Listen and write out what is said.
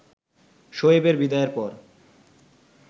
শোয়েবের বিদায়ের পর